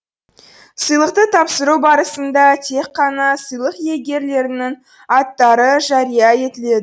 сыйлықты тапсыру барысында тек қана сыйлық иегерлерінің аттары жария етіледі